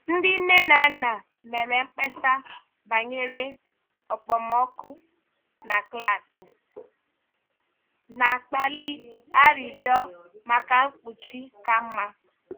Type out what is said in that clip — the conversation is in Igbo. Ndị nne na nna mere mkpesa banyere okpomọkụ na klaasị, na-akpali arịrịọ maka mkpuchi ka mma.